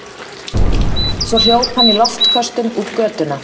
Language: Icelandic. Svo hljóp hann í loftköstum út götuna.